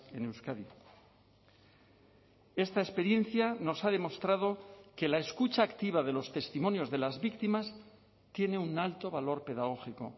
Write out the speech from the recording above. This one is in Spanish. en euskadi esta experiencia nos ha demostrado que la escucha activa de los testimonios de las víctimas tiene un alto valor pedagógico